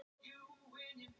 Svo ég hef mikið að hugsa um.